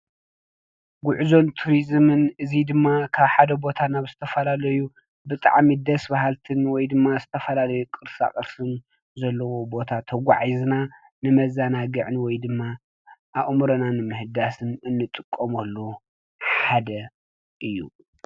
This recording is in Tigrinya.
ጉዕዞን ቱሪዝምን እዚ ድማ ኻብ ሓደ ቦታ ናብ ዝተፈላለዩ ብጣዕሚ ደስ በሃልትን ወይ ድማ ዝተፈላለዩ ቅርሳቅርስን ዘለዎ ቦታ ተጋዒዝና ንመዘናግዕን ወይ ድማ ኣእምሮና ንምሕዳስ እንጥቀመሉ ሓደ እዩ።